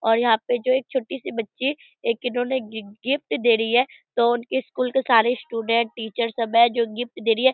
और यहाँ पे जो एक छोटी सी बच्ची एक इन्होंने गिफ्ट दे रही है तो उनके स्कूल के सारे स्टूडेंट टीचर सब है जो गिफ्ट दे रही है।